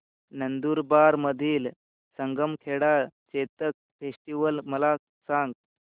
नंदुरबार मधील सारंगखेडा चेतक फेस्टीवल मला सांग